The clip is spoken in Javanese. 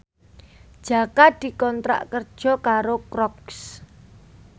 Jaka dikontrak kerja karo Crocs